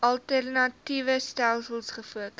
alternatiewe stelsels gefokus